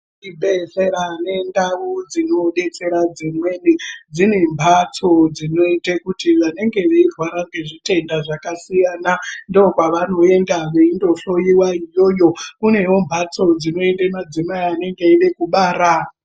Zvibhedhlera nendau dzinobetsera dzimweni dziri mhatso dzinotekuti vanenge veirwara ngezvitenda zvakasiyana. Ndokwavanoenda veindofuiva iyoyo kunevombatso dzinoenda madzimai anenge eiga kubara.